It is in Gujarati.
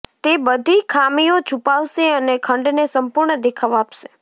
તે બધી ખામીઓ છુપાવશે અને ખંડને સંપૂર્ણ દેખાવ આપશે